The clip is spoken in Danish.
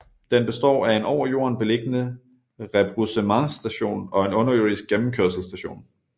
Den består af en over jorden beliggende rebroussementsstation og en underjordisk gennemkørselsstation